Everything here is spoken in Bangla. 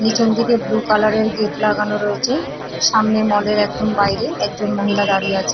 নিচের দিকে ব্লু কালার -এর গেট লাগানো রয়েছে সামনে মল -এর একদম বাইরে একজন মহিলা দাঁড়িয়ে আছে।